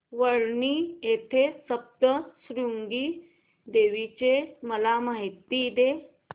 वणी येथील सप्तशृंगी देवी ची मला माहिती दे